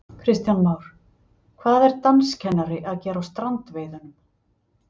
Kristján Már: Hvað er danskennari að gera á strandveiðunum?